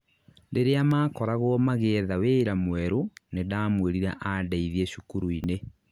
rĩria makoragwo magĩetha wĩra mwerũ nĩndamwĩrire andeithie cukuru-inĩ